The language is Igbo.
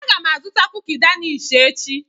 Aga m azụta kuki Danish echi.